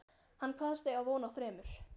Hann kvaðst eiga von á þremur